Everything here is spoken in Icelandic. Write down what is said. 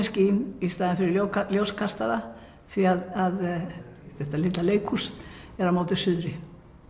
skín í staðinn fyrir ljóskastara því að þetta litla leikhús er á móti suðri